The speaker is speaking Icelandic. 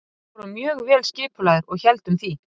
Við vorum mjög vel skipulagðir og héldum því.